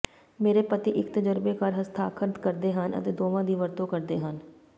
ਮੇਰੇ ਪਤੀ ਇਕ ਤਜ਼ਰਬੇਕਾਰ ਹਸਤਾਖਰ ਕਰਦੇ ਹਨ ਅਤੇ ਦੋਵਾਂ ਦੀ ਵਰਤੋਂ ਕਰਦੇ ਹਨ